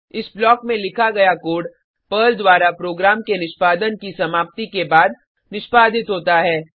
इस ब्लॉक में लिखा गया कोड पर्ल द्वारा प्रोग्राम के निष्पादन की समाप्ति के बाद निष्पादित होता है